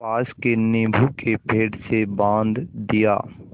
पास के नीबू के पेड़ से बाँध दिया